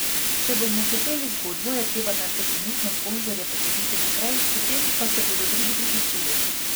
Če bomo hoteli zgodbo, je treba najprej trenutne sponzorje potegniti naprej, potem pa se bodo drugi priključili.